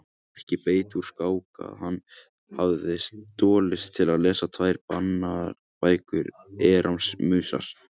Ekki bætti úr skák að hann hafði stolist til að lesa tvær bannaðar bækur Erasmusar.